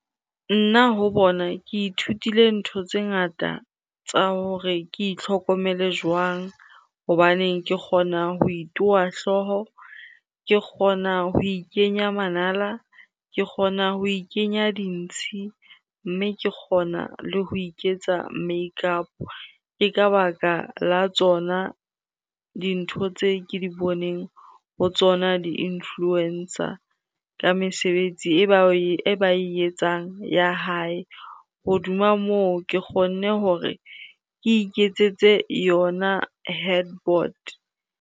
Nna ho bona ke ithutile ntho tse ngata tsa hore ke itlhokomele jwang. Hobaneng ke kgona ho itowa hlooho, ke kgona ho ikenya manala, ke kgona ho ikenya dintshi mme ke kgona le ho iketsa make up-o. Ke ka baka la tsona dintho tse ke di boneng ho tsona di-influencer ka mesebetsi e ba e etsang ya hae. Hodima moo, ke kgonne hore ke iketsetse yona head board.